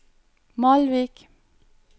Malvik